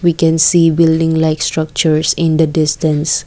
we can see building like structures in the distance.